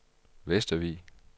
Vestervig